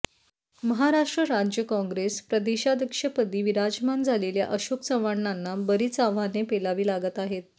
महाराष्ट्र राज्य काँग्रेस प्रदेशाध्यक्षपदी विराजमान झालेल्या अशोक चव्हाणांना बरीच आव्हाने पेलावी लागत आहेत